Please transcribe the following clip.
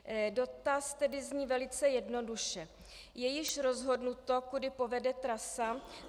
Dotaz tedy zní velice jednoduše: Je již rozhodnuto, kudy povede trasa?